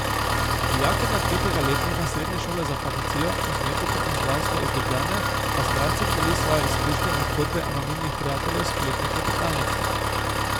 Dijakinja tretjega letnika Srednje šole za farmacijo, kozmetiko in zdravstvo iz Ljubljane pa z bralcem deli svoje izkušnje in zgodbe anonimnih prijateljev s spletne klepetalnice.